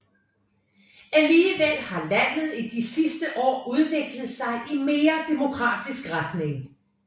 Alligevel har landet i de sidste år udviklet sig i mere demokratisk retning